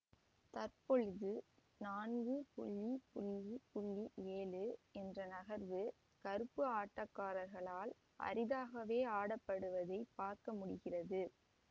தற்பொழுது நான்கு ஏழு என்ற நகர்வு கருப்பு ஆட்டக்காரர்களால் அரிதாகவே ஆடப்படுவதைப் பார்க்க முடிகிறது